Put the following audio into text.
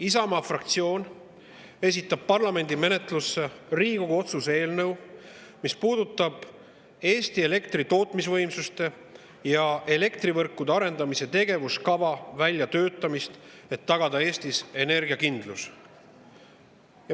Isamaa fraktsioon esitab parlamendi menetlusse Riigikogu otsuse eelnõu, mis puudutab Eesti elektritootmisvõimsuste ja elektrivõrkude arendamise tegevuskava väljatöötamist, et tagada Eestis energiakindlus.